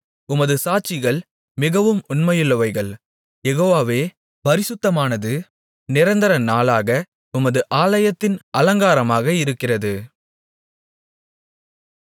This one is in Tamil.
உமது சாட்சிகள் மிகவும் உண்மையுள்ளவைகள் யெகோவாவே பரிசுத்தமானது நிரந்தர நாளாக உமது ஆலயத்தின் அலங்காரமாக இருக்கிறது